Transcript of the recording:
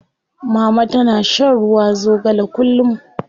Mama tana shan ruwa zogale kullum.